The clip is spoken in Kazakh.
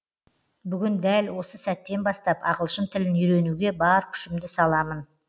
бүгін дәл осы сәттен бастап ағылшын тілін үйренуге бар күшімді саламын